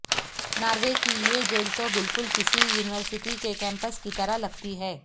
Norway کی یہ jail تو بالکل کسی یونیورسٹی کے کیمپس کی طرح لگتی ہے